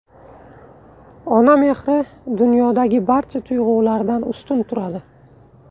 Ona mehri dunyodagi barcha tuyg‘ulardan ustun turadi.